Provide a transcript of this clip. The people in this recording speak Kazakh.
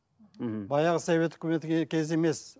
мхм баяғы совет үкіметі кезі емес